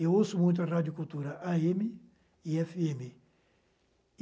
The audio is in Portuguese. Eu ouço muito a radiocultura á eme e efe eme.